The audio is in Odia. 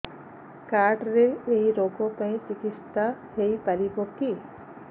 କାର୍ଡ ରେ ଏଇ ରୋଗ ପାଇଁ ଚିକିତ୍ସା ହେଇପାରିବ କି